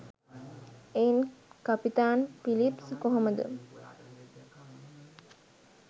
එයින් කපිතාන් පිලිප්ස් කොහොමද